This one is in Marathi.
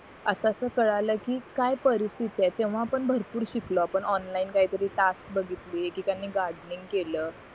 असं अस कळलं कि काई परिस्तिथी आहे तेव्हा पण भरपूर शिकलो आपण ऑनलाईन काही तरी टास्क बघितली कि त्यांनी गार्डनिंग केलं